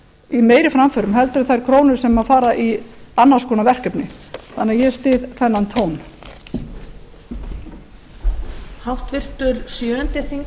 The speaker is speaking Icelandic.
í meiri framförum heldur en þær krónur sem fara í annars konar verkefni þannig að ég styð þennan tón